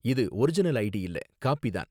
இது original ID இல்ல, copy தான்